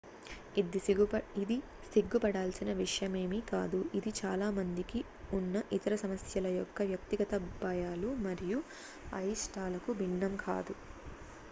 ఇది సిగ్గుపడాల్సిన విషయమేమి కాదు ఇది చాలా మందికి ఉన్న ఇతర సమస్యల యొక్క వ్యక్తిగత భయాలు మరియు అయిష్టాలకు భిన్నం కాదు